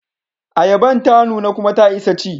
Ayaban ta nuna kuma ta isa ci.